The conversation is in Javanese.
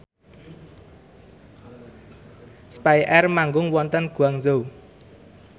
spyair manggung wonten Guangzhou